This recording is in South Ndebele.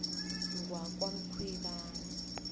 ngwakwamkhwebani